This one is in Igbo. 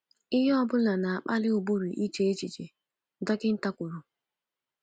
Ihe ọ bụla na-akpali ụbụrụ iche echiche, dọkịnta kwuru.